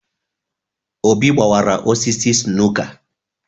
Obi gbawara osisi snooker